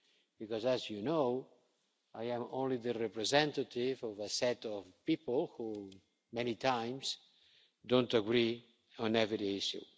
because, as you know, I am only the representative of a set of people who very often don't agree on every issue.